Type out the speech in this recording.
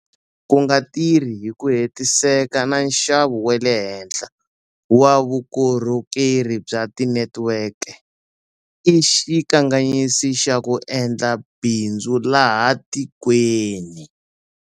Ku nga tirhi hi ku hetiseka na nxavo wa le henhla wa vukorhokeri bya tinetiweke i xikanganyisi xa ku endla bindzu laha tikweni.